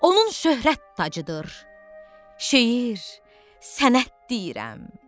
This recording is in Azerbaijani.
Onun şöhrət tacıdır, şeir, sənət deyirəm.